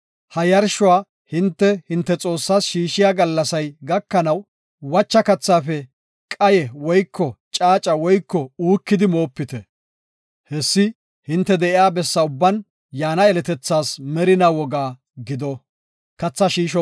Ha yarshuwa hinte, hinte Xoossaas shiishiya gallasay gakanaw, wacha kathaafe qaye woyko caaca woyko uukidi moopite. Hessi hinte de7iya bessa ubban yaana yeletethaas merinaa woga gido.